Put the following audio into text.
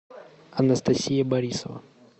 анастасия борисова